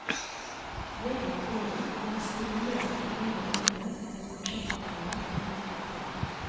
Gjennom året er det stimulert til eget arbeid med prosjektoppgaver og gruppeoppgaver.